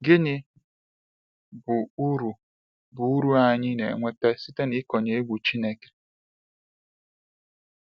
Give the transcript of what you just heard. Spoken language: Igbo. Gịnị bụ uru bụ uru anyị na enweta site n’ịkọnye egwu Chineke?